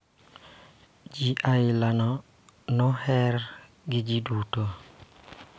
Ji aila no oher gi ji duto.